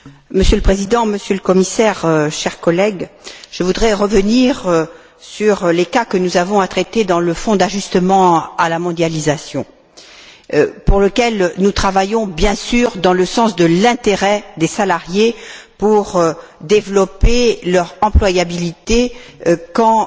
Monsieur le Président, Monsieur le Commissaire, chers collègues, je voudrais revenir sur les cas que nous avons à traiter dans le Fonds d'ajustement à la mondialisation, pour lequel nous travaillons, bien sûr, dans le sens de l'intérêt des salariés pour développer leur employabilité quand